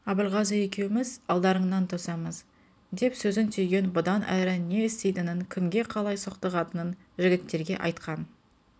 абылғазы екеуміз алдарыңнан тосамыз деп сөзін түйген бұдан әрі не істейтінін кімге қалай соқтығатынын жігіттерге айтқан